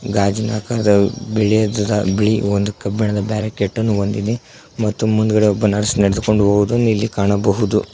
ಗಾಜಿನಾಕಾರ ಬಿಳಿದದ ಬಿಳಿ ಒಂದು ಕಬ್ಬಿಣದ ಬ್ಯಾರೆಕೆಟ್ ಅನ್ನು ಹೊಂದಿದೆ ಮತ್ತು ಮುಂದಗದೆ ಒಬ್ಬ ನರ್ಸ್ ನಡೆದುಕೊಂಡು ಹೋಗುವುದು ಇಲ್ಲಿ ಕಾಣಬಹುದು.